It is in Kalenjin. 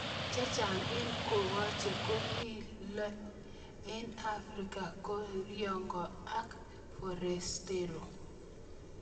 Chechang eng Kokoche kikole eng' Afrika koCriolo akForastero